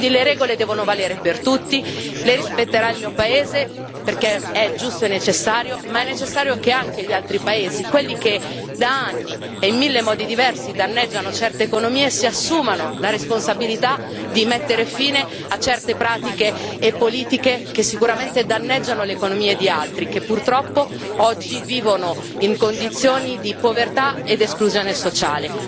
Quindi le regole devono valere per tutti, le rispetterà il mio paese, perché è giusto e necessario, ma è necessario che anche gli altri paesi, quelli che da anni e in mille modi diversi danneggiano certe economie, si assumano la responsabilità di mettere fine a certe pratiche e politiche che sicuramente danneggiano l'economia di altri, che purtroppo oggi vivono in condizioni di povertà ed esclusione sociale.